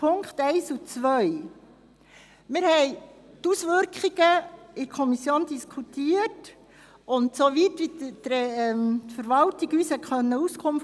Zuerst zu den Ziffern 1 und 2: Wir haben die Auswirkungen in der Kommission diskutiert, und soweit es möglich war, gab uns die Verwaltung Auskunft.